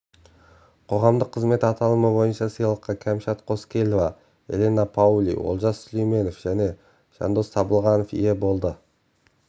қоғамдық қызмет аталымы бойынша сыйлыққа кәмшат қоскелова элина паули олжас сүлейменов және жандос табылғанов ие болды